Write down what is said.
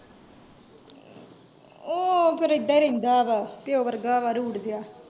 ਉਹ, ਫੇਰ ਇੱਦਾ ਹੀ ਰਹਿੰਦਾ ਵਾ ਪਿਓ ਵਰਗਾ ਵਾ, ਰੁਡ ਜੇਹਾ।